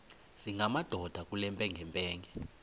singamadoda kule mpengempenge